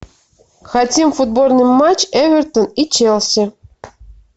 хотим футбольный матч эвертон и челси